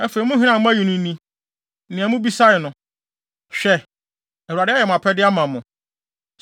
Afei, mo hene a moayi no ni; nea mobisae no. Hwɛ, Awurade ayɛ mo apɛde ama mo.